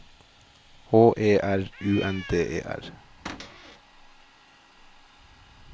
H E R U N D E R